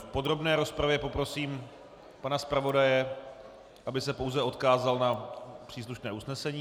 V podrobné rozpravě poprosím pana zpravodaje, aby se pouze odkázal na příslušné usnesení.